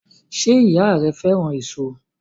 Ṣé ìyá ẹ fẹ́ràn èso?